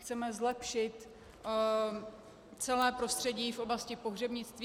Chceme zlepšit celé prostředí v oblasti pohřebnictví.